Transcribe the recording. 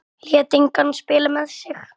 Lét engan spila með sig.